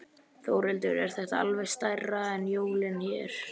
Þórhildur: Er þetta alveg stærra en jólin hérna?